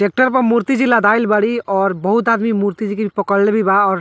tractor पे मुर्ति जी लदाइल बाड़ी और बहुत आदमी मुर्ति जी के पकड़ले भी बा और --